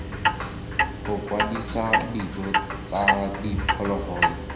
go kwadisa dijo tsa diphologolo